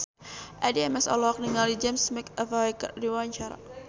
Addie MS olohok ningali James McAvoy keur diwawancara